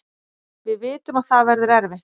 Við vitum að það verður erfitt